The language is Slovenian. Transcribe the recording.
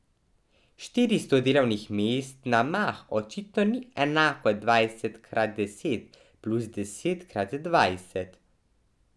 Štiristo delovnih mest na mah očitno ni enako dvajset krat deset plus deset krat dvajset.